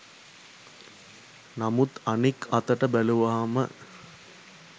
නමුත් අනික් අතට බැලුවම